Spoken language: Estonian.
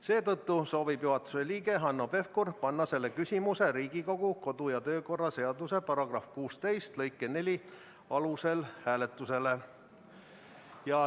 Seetõttu soovib juhatuse liige Hanno Pevkur panna selle küsimuse Riigikogu kodu- ja töökorra seaduse § 16 lõike 4 alusel hääletusele.